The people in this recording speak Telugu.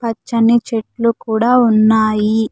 పచ్చని చెట్లు కూడా ఉన్నాయి.